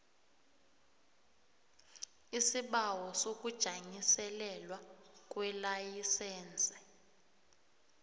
isibawo sokujanyiselelwa kwelayisense